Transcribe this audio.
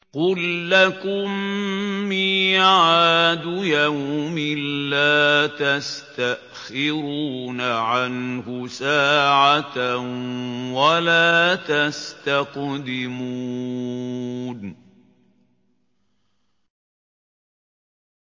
قُل لَّكُم مِّيعَادُ يَوْمٍ لَّا تَسْتَأْخِرُونَ عَنْهُ سَاعَةً وَلَا تَسْتَقْدِمُونَ